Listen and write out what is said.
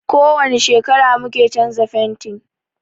Ko wani shekara mu ke canza fentin.